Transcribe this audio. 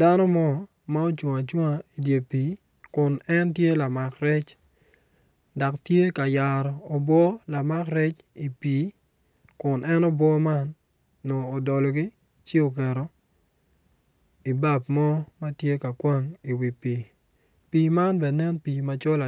dano mo ma ocung acunga idye pii kun entye lamak rec dak tye ka yaro obwo lamak rec i pii kun en obwo man nongo odologi ci oketo i bab mo ma ti ka kwang iwi pii, pii man be nen pii macol